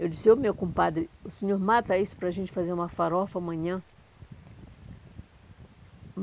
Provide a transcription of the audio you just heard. Eu disse, ô meu compadre, o senhor mata isso para a gente fazer uma farofa amanhã?